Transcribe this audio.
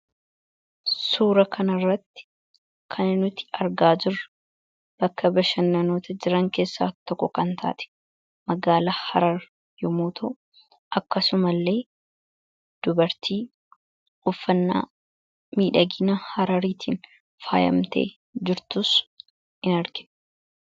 suura kanaarratti kananuti argaajur bakka bashannanota jiran keessa tokko kan taate magaala harar yomooto akkasuma illee dubartii uffannaa miidhagina harariitiin faayamtee jirtuus hin arge